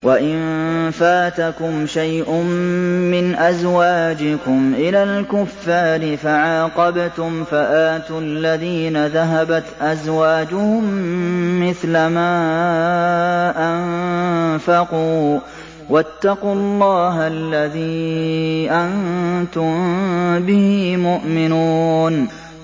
وَإِن فَاتَكُمْ شَيْءٌ مِّنْ أَزْوَاجِكُمْ إِلَى الْكُفَّارِ فَعَاقَبْتُمْ فَآتُوا الَّذِينَ ذَهَبَتْ أَزْوَاجُهُم مِّثْلَ مَا أَنفَقُوا ۚ وَاتَّقُوا اللَّهَ الَّذِي أَنتُم بِهِ مُؤْمِنُونَ